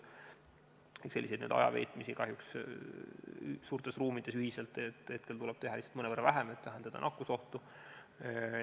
Ehk selliseid ajaveetmisi kahjuks suurtes ruumides ühiselt tuleb praegu teha mõnevõrra vähem, et vähendada nakkusohtu.